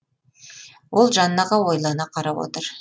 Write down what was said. ол жаннаға ойлана қарап отыр